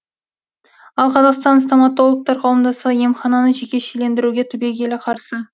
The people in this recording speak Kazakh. ал қазақстан стоматологтар қауымдастығы емхананы жекешелендіруге түбегейлі қарсы